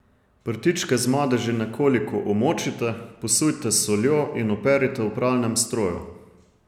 Prtičke z madeži nekoliko omočite, posujte s soljo in operite v pralnem stroju.